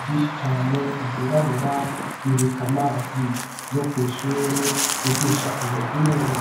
Vyinishi cane vyirabura bibika amazi yo kw'ishure ryigisha ubuhinga